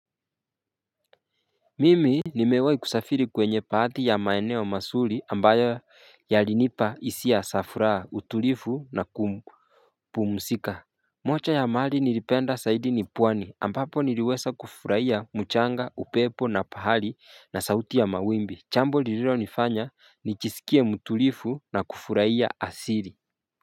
Mimi nimewai kusafiri kwenye baadhi ya maeneo mazuri ambayo yalinipa hisia za furaha utulivu na kupmuzika. Moja ya mali nilipenda zaidi ni pwani ambapo niliweza kufurahia mchanga upepo na pahali na sauti ya mawimbi jambo lililonifanya nijisikie mutulivu na kufurahia asili.